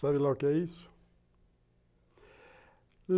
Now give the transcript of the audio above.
Sabe lá o que é isso?